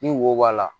Ni wo b'a la